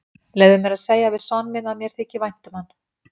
Leyfðu mér að segja við son minn að mér þyki vænt um hann.